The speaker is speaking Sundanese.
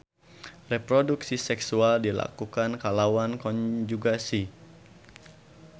Reproduksi seksual dilakukan kalawan konjugasi.